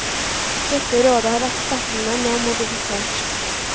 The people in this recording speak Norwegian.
Dette rådet har ekspertene nå modifisert.